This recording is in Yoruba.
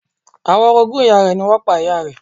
Àwọn orogún ìyá rẹ̀ ni wọ́n pa ìyá rẹ̀.